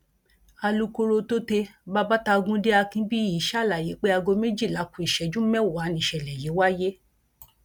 alūkkóró tôte babatagùnde akinbíyì ṣàlàyé pé aago méjìlá kù ìṣẹjú mẹwàá nìṣẹlẹ yìí wáyé